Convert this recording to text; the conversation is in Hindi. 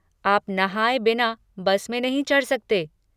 आप नहाए बिना बस में नहीं चढ़ सकते।